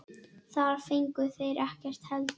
Þar fengu þeir ekkert heldur.